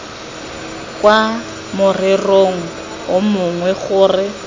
kwa morerong o mongwe gore